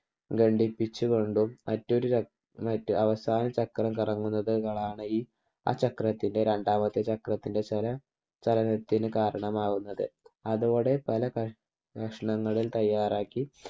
ഘടിപ്പിച്ചുകൊണ്ടും മറ്റൊരു ചക്ര അവസാന ചക്രം കറങ്ങുന്നതാണ് ഈ ആ ചക്രത്തിൻ്റെ രണ്ടാമത്തെ ചക്രത്തിൻ്റെ ചലനത്തിന് കാരണമാകുന്നത്. അതോടെ പല കഷ്ണങ്ങളിൽ തയ്യാറാക്കി